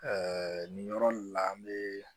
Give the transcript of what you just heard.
nin yɔrɔ la an bɛ